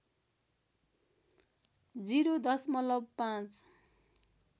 ० दशमलव ५